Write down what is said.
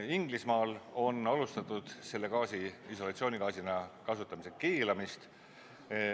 Inglismaal on alustatud selle gaasi isolatsioonigaasina kasutamise keelamist.